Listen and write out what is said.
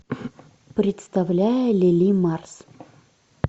представляя лили марс